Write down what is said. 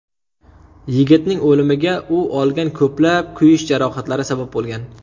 Yigitning o‘limiga u olgan ko‘plab kuyish jarohatlari sabab bo‘lgan.